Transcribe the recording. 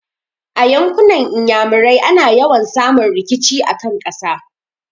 A yankunan Iyamurai ana yawa samun rikici a kan ƙasa.